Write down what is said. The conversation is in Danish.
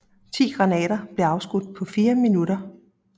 Ti granater blev afskudt på fire minutter